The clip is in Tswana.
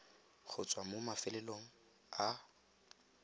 go tswa mo mafelong a